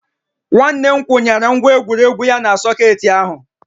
Nwanne m kwụnyere ngwa egwuregwu ya na sọkeetị ahụ